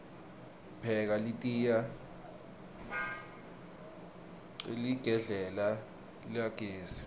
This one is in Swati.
pheka litiya hqeligedlela lagesi